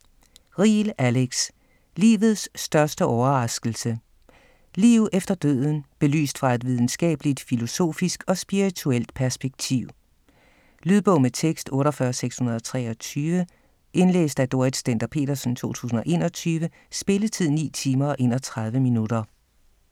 Riel, Alex: Livets største overraskelse: liv efter døden belyst fra et videnskabeligt, filosofisk og spirituelt perspektiv Lydbog med tekst 48623 Indlæst af Dorrit Stender-Petersen, 2021. Spilletid: 9 timer, 31 minutter.